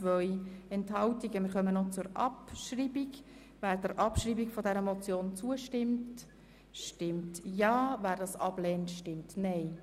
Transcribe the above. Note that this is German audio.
Wer sie abschreiben möchte, stimmt Ja, wer dies ablehnt stimmt Nein.